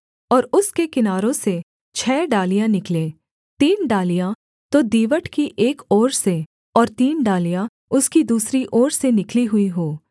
और उसके किनारों से छः डालियाँ निकलें तीन डालियाँ तो दीवट की एक ओर से और तीन डालियाँ उसकी दूसरी ओर से निकली हुई हों